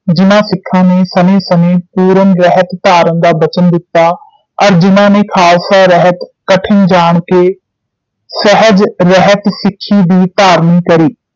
ਜਿਨ੍ਹਾਂ ਸਿਖਾਂ ਨੇ ਸਨੇ ਸਨ ਪੂਰਨ ਰਹਿਤ ਧਾਰਨ ਦਾ ਬਚਨ ਦਿੱਤਾ ਅਰ ਜਿਨ੍ਹਾਂ ਨੇ ਖਾਲਸਾ ਰਹਿਤ ਕਠਿਨ ਜਾਣ ਕੇ ਸਹਿਜ ਰਹਿਤ ਸਿੱਖੀ ਦੀ ਧਾਰਨ ਕਰੀ